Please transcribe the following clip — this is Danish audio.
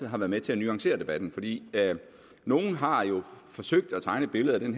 har været med til at nuancere debatten fordi nogle har jo forsøgt at tegne et billede af det